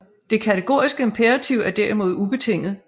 Det kategoriske imperativ er derimod ubetinget